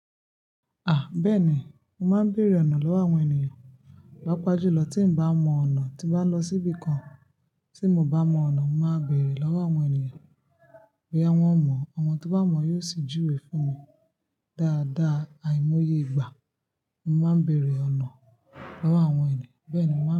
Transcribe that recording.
A! Bẹ́ẹ̀ ni, mo máa ń bèèrè ọ̀nà lọ́wọ́ àwọn ènìyàn. Pa pàa ju lọ tí n bá mọ ọ̀nà tí bá lọ síbi kan tí mo bá mọ ọ̀nà, màá bèèrè lọ́wọ́ àwọn ènìyàn bo ya wọ́n mọ̀, àwọn tí o bá mọ̀ yóò sì júwe fún mi. Daada aìmọye ìgbà, mo máa ń bèèrè ọ̀nà lọ́wọ́ àwọn ènìyàn. Bẹ́ẹ̀ ni màá ń.